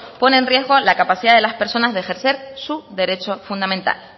pone en riesgo la capacidad de las personas de ejercer su derecho fundamental